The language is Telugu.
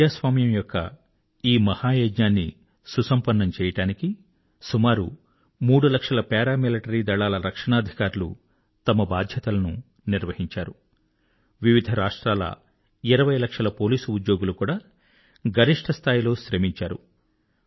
ప్రజాస్వామ్యం యొక్క ఈ మహ యజ్ఞాన్ని సుసంపన్నం చేయడానికి సుమారు మూడు లక్షల పారామిలిటరీ దళాల రక్షణాధికారులు తమ బాధ్యతలను నిర్వహించారు వివిధ రాష్ట్రాల 20 లక్షల పోలీసు ఉద్యోగులు కూడా గరిష్ఠ స్థాయిలో శ్రమించారు